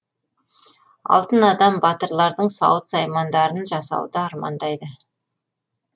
алтын адам батырлардың сауыт саймандарын жасауды армандайды